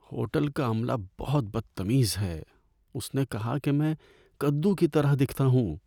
Hotel کا عملہ بہت بدتمیز ہے۔ اس نے کہا کہ میں کدو کی طرح دکھتا ہوں۔